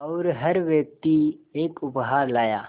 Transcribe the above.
और हर व्यक्ति एक उपहार लाया